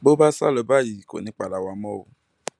bó bá sá lọ báyìí kò ní í padà wá mọ o